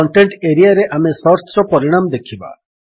content ଏରିଆରେ ଆମେ ସର୍ଚ୍ଚର ପରିଣାମ ଦେଖିବା